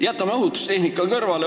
Jätame ohutustehnika kõrvale.